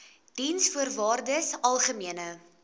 diensvoorwaardesalgemene